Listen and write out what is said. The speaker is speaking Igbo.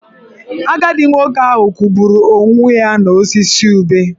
Agadi nwoke ahụ kwụgburu onwe ya n'osisi ube.